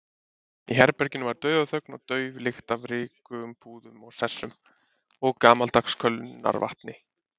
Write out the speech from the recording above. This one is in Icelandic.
Í herberginu var dauðaþögn og dauf lykt af rykugum púðum og sessum og gamaldags kölnarvatni.